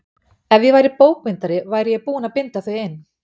Ef ég væri bókbindari væri ég búinn að binda þau inn.